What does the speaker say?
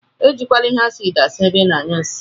Ejikwana ihe acidi asa ebe ina anyụ nsi.